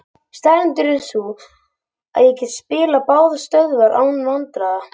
Staðreyndin er sú að ég get spilað báðar stöður án vandræða.